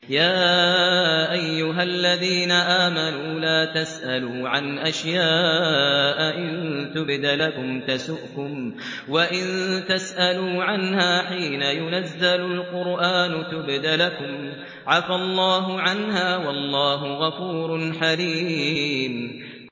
يَا أَيُّهَا الَّذِينَ آمَنُوا لَا تَسْأَلُوا عَنْ أَشْيَاءَ إِن تُبْدَ لَكُمْ تَسُؤْكُمْ وَإِن تَسْأَلُوا عَنْهَا حِينَ يُنَزَّلُ الْقُرْآنُ تُبْدَ لَكُمْ عَفَا اللَّهُ عَنْهَا ۗ وَاللَّهُ غَفُورٌ حَلِيمٌ